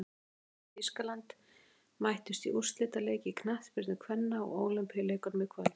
Svíþjóð og Þýskaland mættust í úrslitaleik í knattspyrnu kvenna á Ólympíuleikunum í kvöld.